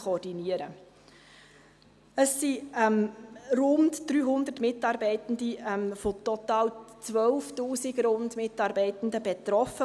Es sind von dieser neuen Führungsunterstellung rund 300 Mitarbeitende von total rund 12 000 Mitarbeitenden betroffen.